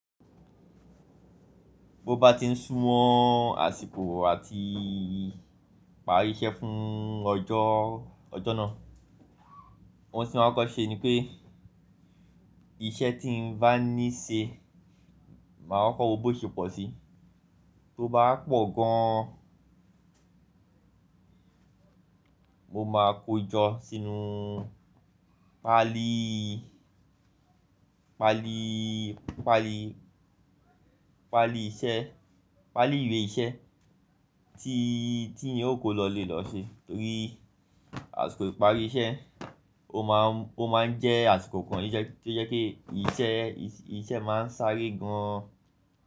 Bó bá ti ń sùwọ́n àsìkò àti parí iṣẹ́ fún ọjọ́, ọjọ́ náà, ohun tí mo máa kọ́ ṣe ni pé iṣẹ́ tí n bá ní ṣe, màá kọ́kọ́ wo bó ṣe pọ̀ sí. Tó bá pọ̀ gan an, mo máa kóo jọ sínú pálí, pálí, pálí iṣẹ́, pálí ìwé iṣẹ́ tí iyẹn ó kó lọ ilé lọ ṣe, torí àsìkò ìpari iṣẹ́ o máa n jẹ́ àsìkò kan to jẹ́ pé iṣẹ́ máa n sáré gan-an.